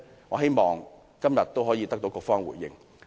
我希望今天局方可以作出回應。